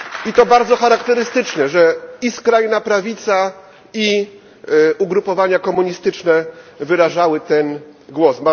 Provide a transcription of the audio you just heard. To bardzo charakterystyczne, że i skrajna prawica, i ugrupowania komunistyczne wyrażały ten głos.